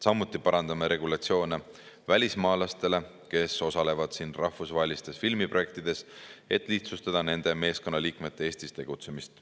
Samuti parandame regulatsioone välismaalastele, kes osalevad siin rahvusvahelistes filmiprojektides, et lihtsustada nende meeskonnaliikmete Eestis tegutsemist.